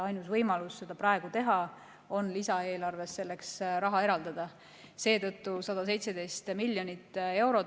Ainus võimalus seda praegu teha on lisaeelarves selleks raha eraldada, seetõttu eraldasimegi 117 miljonit eurot.